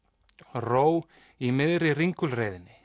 ró í miðri